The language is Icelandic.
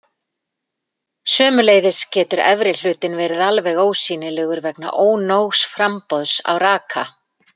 Sömuleiðis getur efri hlutinn verið alveg ósýnilegur vegna ónógs framboðs á raka.